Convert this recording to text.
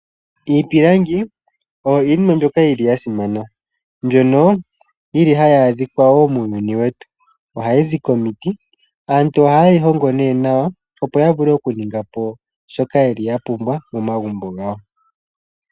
Iipilangi oyo iinima mbyoka yili ya simana. Mbyono yili hayi adhika woo muuyuni wetu. Ohayizi komiti aantu oha ye yi hongo nee nawa opo ya vule oku ninga po shoka yeli ya pumbwa momagumbo gawo.